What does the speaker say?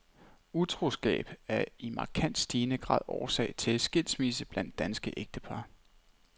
Utroskab er i markant stigende grad årsag til skilsmisse blandt danske ægtepar.